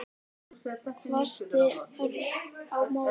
hvæsti Örn á móti.